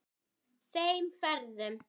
Þeim ferðum.